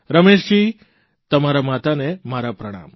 રમેશજી તમારાં માતાને મારા પ્રણામ